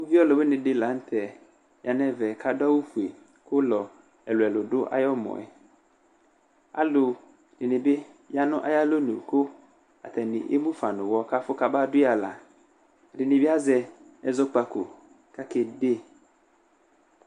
Uvi ɔlʋ wɩnɩ la nʋ tɛ ya nʋ ɛvɛ kʋ adʋ awʋ fue, ʋlɔ ɛlʋ-ɛlʋ dʋ ayʋ ɛmɔ yɛ, alʋ dɩnɩ bɩ ya nʋ ayʋ alɔnu, kʋ atanɩ emu fa nʋ ʋwɔ kʋ afʋ kabadʋ yɩ aɣla, ɛdɩnɩ bɩ azɔ ɛzɔkpako kʋ akede